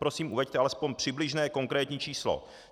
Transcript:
Prosím, uveďte aspoň přibližné konkrétní číslo.